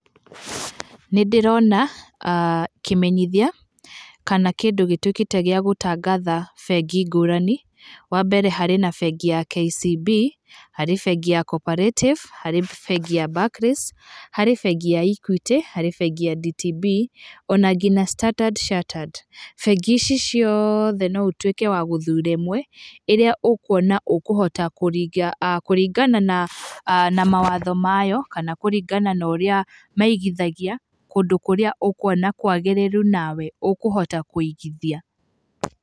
Nĩndĩrona kĩmenyithia kana kĩndũ gĩtuĩkĩte gĩa gũtangatha bengi ngũrani, wambere harĩ na bengi ya KCB, harĩ bengi ya Cooperative, harĩ bengi ya Barclays, harĩ bengi ya Equity, harĩ bengi ya DTB, ona nginya Standard Chartered. Bengi ici ciothe no ũtuĩke wa gũthura imwe ĩrĩa ũkuona ũkũhota kũringana na mawatho mayo, kana kũringana norĩa maigithagia kũndũ kũrĩa ũkũona kwagĩrĩru nawe ũkũhota kũigithia.